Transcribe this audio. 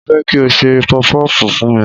Mo fẹ́ kí o ṣe pọfupọ́fù fún mi.